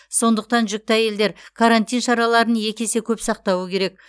сондықтан жүкті әйелдер карантин шараларын екі есе көп сақтауы керек